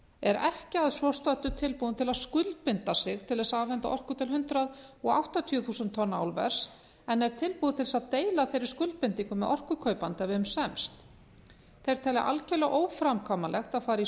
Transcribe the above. er ekki að svo stöddu tilbúin til að skuldbinda sig til þess að afhenda orku til hundrað áttatíu þúsund tonna álvers en er tilbúin til þess að deila þeirri skuldbindingu með orkukaupanda ef um semst þeir telja algjörlega óframkvæmanlegt að fara í